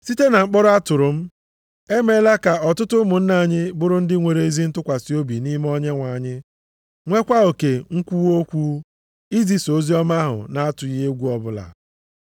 Site na mkpọrọ a a tụrụ m, e meela ka ọtụtụ ụmụnna anyị bụrụ ndị nwere ezi ntụkwasị obi nʼime Onyenwe anyị, nwekwa oke nkwuwa okwu, izisa oziọma ahụ na-atụghị egwu ọbụla.